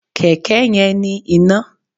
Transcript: Kẹ̀kẹ́ yẹn ní iná.